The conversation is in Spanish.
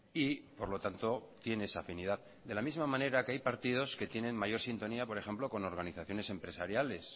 y por lo tanto tiene esa afinidad de la misma manera que hay partidos que tienen mayor sintonía por ejemplo con organizaciones empresariales